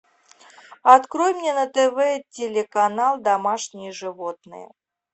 открой мне на тв телеканал домашние животные